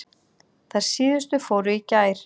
Þær síðustu fóru í gær.